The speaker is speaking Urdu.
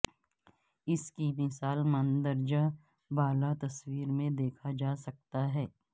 اس کی مثال مندرجہ بالا تصویر میں دیکھا جا سکتا ہے